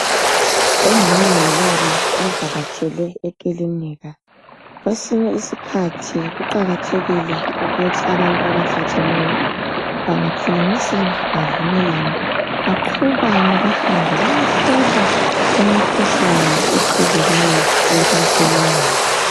Umama lobaba bavakatshele ekilinika. Kwesinye isikhathi kuqakathekile ukuthi abantu abathatheneyo bangakhulumisana bavumelane baqhubane bahambe bayehlolwa imikhuhlane ehlukahlukeneyo emakilinika.